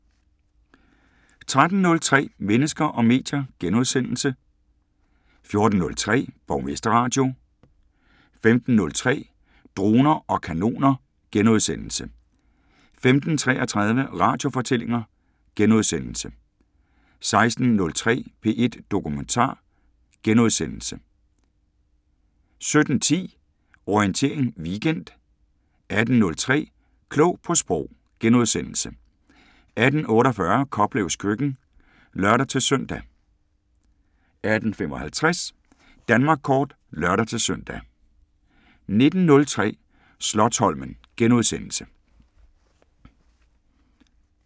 13:03: Mennesker og medier * 14:03: Borgmesterradio 15:03: Droner og kanoner * 15:33: Radiofortællinger * 16:03: P1 Dokumentar * 17:10: Orientering Weekend 18:03: Klog på Sprog * 18:48: Koplevs køkken (lør-søn) 18:55: Danmark kort (lør-søn) 19:03: Slotsholmen *